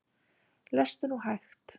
Lestu nú hægt!